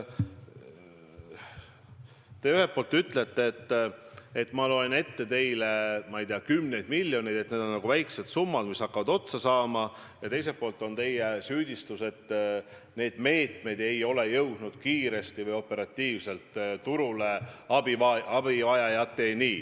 Te ühelt poolt ütlete, et ma loen ette teile, ma ei tea, kümneid miljoneid, mis on nagu väikesed summad ja hakkavad otsa saama, ja teiselt poolt kõlab süüdistus, et meetmed ei ole jõudnud kiiresti või operatiivselt turule abivajajateni.